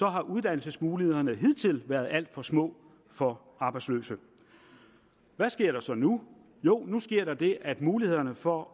har uddannelsesmulighederne hidtil været alt for små for arbejdsløse hvad sker der så nu jo nu sker der det at mulighederne for